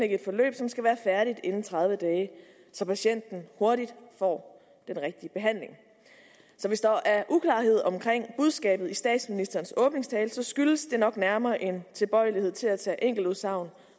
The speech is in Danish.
et forløb som skal være færdigt inden tredive dage så patienten hurtigt får den rigtige behandling så hvis der er uklarhed om budskabet i statsministerens åbningstale så skyldes det nok nærmere en tilbøjelighed til at tage enkeltudsagn